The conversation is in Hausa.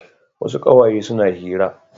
Wasu ƙawaye suna hira.